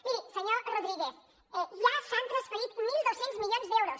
miri senyor rodríguez ja s’han transferit mil dos cents milions d’euros